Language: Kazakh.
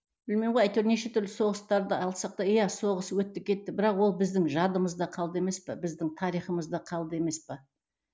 білмеймін ғой әйтеуір неше түрлі соғыстарды алсақ та иә соғыс өтті кетті бірақ ол біздің жадымызда қалды емес пе біздің тарихымызда қалды емес пе